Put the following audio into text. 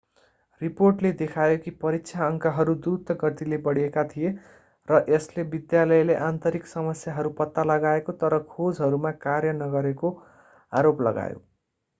रिपोर्टले देखायो कि परीक्षा अङ्कहरू द्रुत गतिले बढेका थिए र यसले विद्यालयले आन्तरिक समस्याहरू पत्ता लगाएको तर खोजहरूमा कार्य नगरेको आरोप लगायो